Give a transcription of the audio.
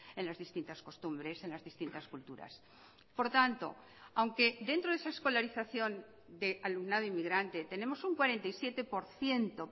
en las distintas costumbres en las distintas culturas por tanto aunque dentro de esa escolarización de alumnado inmigrante tenemos un cuarenta y siete por ciento